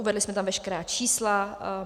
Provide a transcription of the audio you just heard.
Uvedli jsme tam veškerá čísla.